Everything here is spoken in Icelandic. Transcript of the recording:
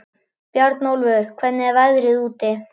Bjarnólfur, hvernig er veðrið úti?